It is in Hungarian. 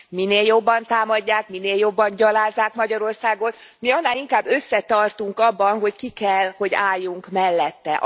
Minél jobban támadják, minél jobban gyalázzák Magyarországot, mi annál inkább összetartunk abban, hogy ki kell, hogy álljunk mellette.